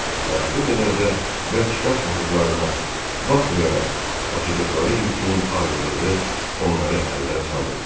və o qədər də bərk qaçmadıqlarına baxmayaraq, daşıdıqları yükün ağırlığı onları əldən salırdı.